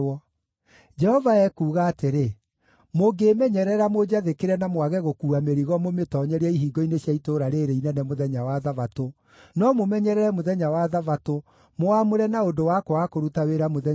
Jehova ekuuga atĩrĩ, mũngĩmenyerera mũnjathĩkĩre na mwage gũkuua mĩrigo mũmĩtoonyerie ihingo-inĩ cia itũũra rĩĩrĩ inene mũthenya wa Thabatũ, no mũmenyerere mũthenya wa Thabatũ mũwamũre na ũndũ wa kwaga kũruta wĩra mũthenya ũcio-rĩ